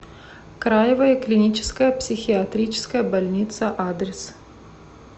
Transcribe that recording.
краевая клиническая психиатрическая больница адрес